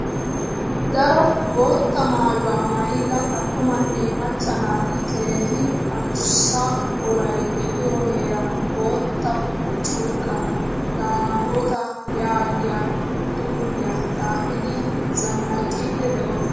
Daro boottaa maayuwaa maayida attumane macca naati keehin addussa woray deiyo heeran boottaa curqqan damota yaagiyaa xuufiyaa xaafidi zannaqqidi deosona.